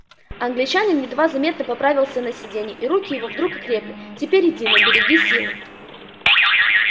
англичанин едва заметно поправился на сиденье и руки его вдруг окрепли теперь иди но береги силы